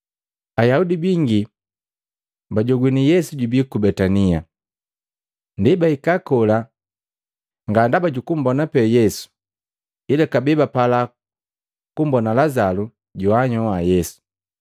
Ayaudi bingi bajogwini Yesu jubii ku Betania. Ndi bahika kola nga ndaba jukumbona pee Yesu, ila kabee bapala kumbona Lazalu joanhyoha Yesu.